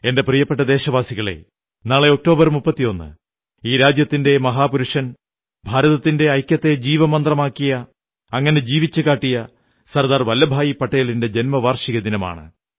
എന്റെ പ്രിയപ്പെട്ട ദേശവാസികളേ നാളെ ഒക്ടോബർ 31 ഈ രാജ്യത്തിന്റെ മഹാപുരുഷൻ ഭാരതത്തിന്റെ ഐക്യത്തെ ജീവിതമന്ത്രമാക്കിയ അങ്ങനെ ജീവിച്ചുകാട്ടിയ സർദാർ വല്ലഭഭായി പട്ടേലിന്റെ ജന്മവാർഷിക ദിനമാണ്